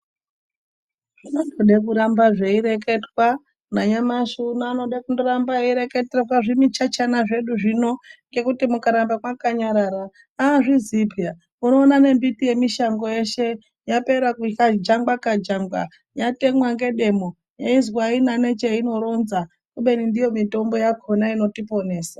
Zvinondoda kuramba zveireketwa nanyamashi uno anode kundoramba eireketerwa zvimuchachana zvedu zvino ngekuti mukaramba mwakanyarara azviziyi peya unoona nembiti yemushango yeshe yapera kukajangwa kajangwa yatemwa ngedemo yeizwi aina necheinoronza kubeni ndiyo mitombo yakona inotiporesa.